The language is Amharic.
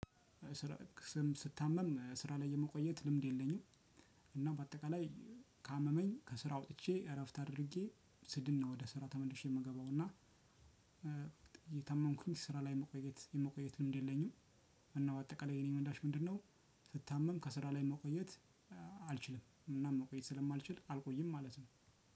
ስራ ስም ስታመም ስራ ላይ የመቆየት ልምድ የለኝም። እና በአጠቃላይ ካመመኝ ከስራ ውጥቼ እረፍት አድርጌ ስድን ነው ወደ ስራ ተመልሼ የምገባው። እና እየታመምኩኝ ስራ ላይ መቆየት መቆየቱን ምንድነው? እና በአጠቃላይ የኔ መንዳሽ ምንድነው? ስታመም ከስራ ላይ መቆየት አልችልም እና መቆየት ስለማልችል አልቆይም። ማለት ነው።